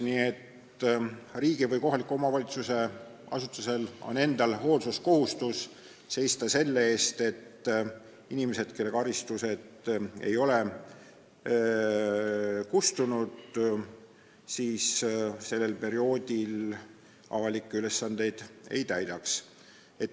" Nii et riigi- või kohaliku omavalitsuse asutusel endal on hoolsuskohustus seista selle eest, et inimesed, kelle karistus ei ole kustunud, sellel perioodil avalikke ülesandeid ei täidaks.